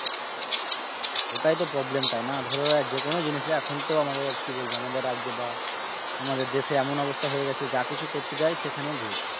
ওটাই তো problem তাই না, ধরো যে কোন জিনিসই এখন তো আমাদের কি বলব আমাদের রাজ্যে বা আমাদের দেশে এমন অবস্থা হয়ে গেছে যা কিছু করতে যায় সেখানে ঘুষ।।